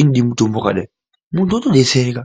inode mutombo wakadai,, muntu otodetsereka.